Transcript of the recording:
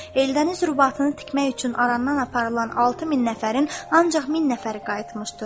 Eldəniz qurbatını tikmək üçün aramdan aparılan 6 min nəfərin ancaq min nəfəri qayıtmışdır.